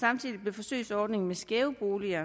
forsøgsordningen med skæve boliger